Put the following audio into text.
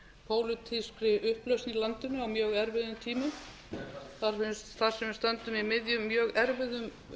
pólitískri upplausn í landinu á mjög erfiðum tímum þar sem við stöndum í miðjum mjög erfiðum